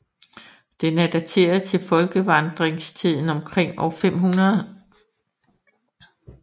Den er dateret til folkevandringstiden omkring år 500